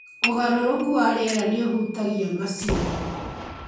Ũgarũrũku wa rĩera nĩ ũhutagia maciaro.